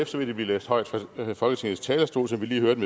så vil de blive læst højt fra folketingets talerstol som vi lige hørte